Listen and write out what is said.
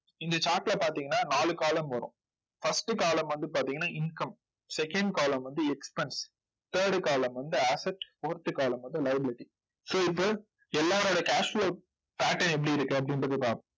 இந்த chart ல பார்த்தீங்கன்னா நாலு column வரும். first column வந்து பார்த்தீங்கன்னா income, second column வந்து expense, third column வந்து asset, fourth column வந்து liability, so இப்போ எல்லாரோட cash flow pattern எப்படி இருக்கு அப்படின்றதைப் பார்ப்போம்.